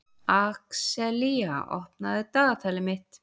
Axelía, opnaðu dagatalið mitt.